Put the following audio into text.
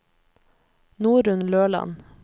Norunn Løland